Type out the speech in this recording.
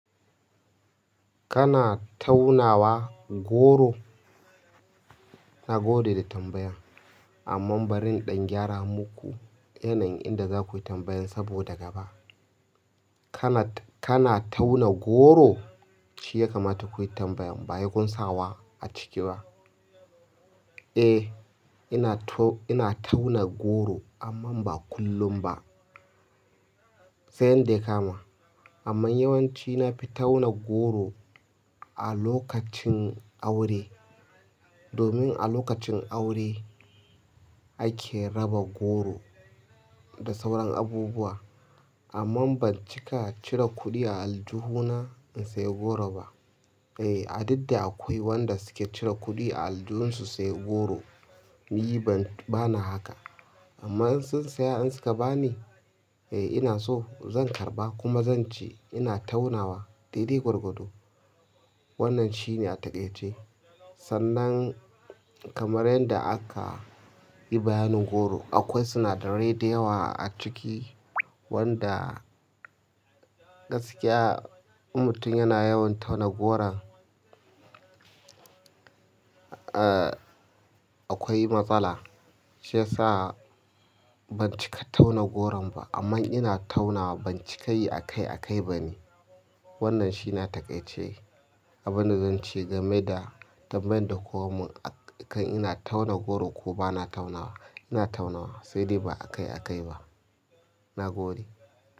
Kana taunawa goro? Na gode da tambayan. Amma bari in ɗan gyara muku yanayin inda za ku yi tambayan saboda gaba. Kana, kana tauna goro? Shi ya kamata ku yi tambayan ba sai kunsa wa a ciki ba. Eh, ina tauna goro amma ba kullum ba. Sai yanda ya kama. Amma yawanci na fi tauna goro a lokacin aure. Domin a lokacin aure ake raba goro da sauran abubuwa. Amma ban cika cire kuɗi a aljihu na in sayi goro ba. Eh, duk da akwai wanda suke cire kuɗi a aljuhunsu su sayi goro. Ni bana haka. Amma in sun siya in suka ba ni, eh ina so zan karɓa kuma zan ci ina taunawa. Dai dai gwargwado. Wannan shine a takaice. Sannan kamar yanda aka yi bayanin goro, akwai sinadarai da yawa a ciki wanda gaskiya in mutum yana yawan tauna goron, ah akwai matsala. Shi yasa ban cika tauna goron ba. Amma ina taunawa ban cika yi a kai a kai ba ne. Wannan shine a takaice. Abinda zan ce game da tambayan da kun mun akan ina tauna goro ko bana taunawa, ina taunawa sai dai ba a kai a kai ba. Nagode.